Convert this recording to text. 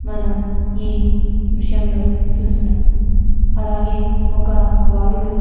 మనం ఈ దృశ్యంలో చుస్తునాం అలాగే ఒక బాలుడు --